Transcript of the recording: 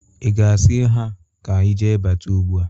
Ị ga-asia ha ka ije bata ugbụ a?